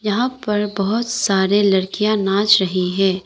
यहां पर बहुत सारे लड़कियां नाच रही है।